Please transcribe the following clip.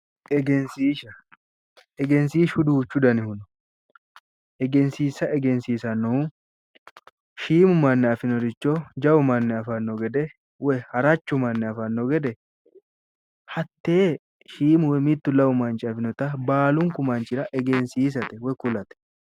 Egesiisha, egesiishu duuchu danihu no egesiisha egesiisanohu shiimu mani afinoricho jawu manni afanno gede woy harachu manni afanno gede hatee shiimu woy mittu woy lamu manchi afinore baalunku manchira iilishatte woy kulate.